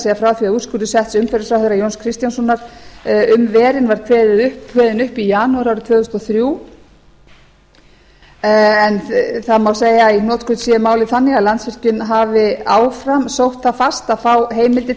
frá því að úrskurður setts umhverfisráðherra jóns kristjánssonar um verin var kveðinn upp í janúar árið tvö þúsund og þrjú það má segja að í hnotskurn sé málið þannig að landsvirkjun hafi áfram sótt það fast að sá heimidir til þess